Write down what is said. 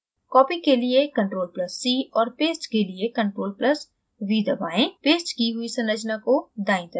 copy के लिए ctrl + c और paste के लिए ctrl + v दबाएं paste की हुई संरचना को दायीं तरफ drag करें